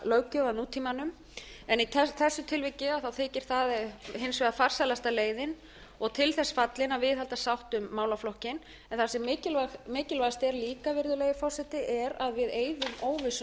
að nútímanum en í þessu tilviki þykir það hins vegar farsælasta leiðin og til þess fallin að viðhalda sátt um málaflokkinn það sem mikilvægast er líka virðulegi forseti er að við eyðum óvissunni sem verið hefur um